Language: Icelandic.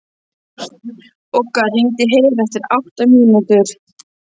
Bogga, hringdu í Heru eftir átta mínútur.